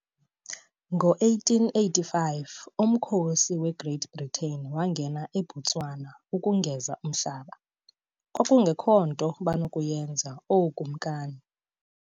Ngo-1885 umkhosi weGreat Britain wangena eBotswana ukungeza umhlaba, kwakungekho nto banokuyenza ookumkani.